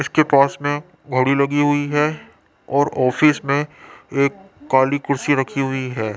इसके पास मे गाड़ी लगी हुई है और ऑफिस में एक काली कुर्सी रखी हुई है।